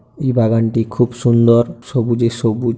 এই বাগানটি খুব সুন্দর। সবুজে সবু--